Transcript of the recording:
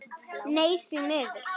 Nei því miður.